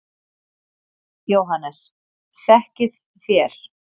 JÓHANNES: Þekkið þér?